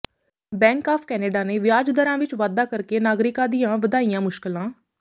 bank of Canada ਨੇ ਵਿਆਜ ਦਰਾਂ ਵਿਚ ਵਾਧਾ ਕਰਕੇ ਨਾਗਰਿਕਾਂ ਦੀਆਂ ਵਧਾਈਆਂ ਮੁਸ਼ਕਲਾਂ